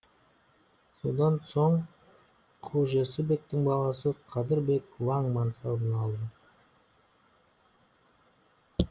содан соң хожесі бектің баласы қадыр бек ваң мансабын алды